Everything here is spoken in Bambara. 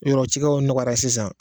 Yɔrɔ cikɛw nɔgɔyara sisan.